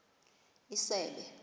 isebe